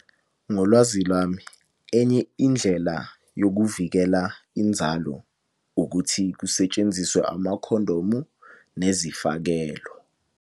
Ngolwazi lwami, enye indlela yokuvikela inzalo ukuthi kusetshenziswe amakhondomu nezifakelo.